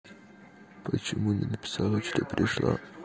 почему не написала что пришла